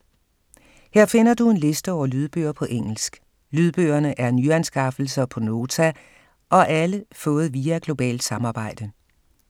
Her finder du en liste over lydbøger på engelsk. Lydbøgerne er nyanskaffelser på Nota, og alle fået via globalt samarbejde.